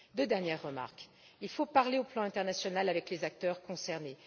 Deux dernières remarques il faut parler, au niveau international, avec les acteurs concernés.